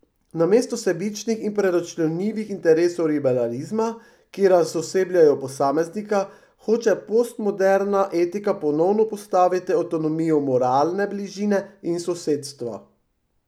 Namesto sebičnih in preračunljivih interesov liberalizma, ki razosebljajo posameznika, hoče postmoderna etika ponovno postaviti avtonomijo moralne bližine in sosedstva.